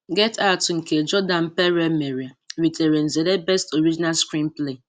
Get Out nke Jordan Peele mere ritere nzere 'Best original screenplay'